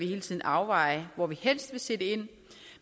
hele tiden overveje hvor man helst vil sætte ind